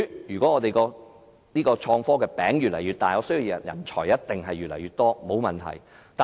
如果香港創新科技的餅越造越大，我相信人才一定越來越多。